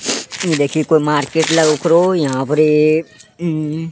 इ देखि कोय मार्केट लगब करो यहां परी मम --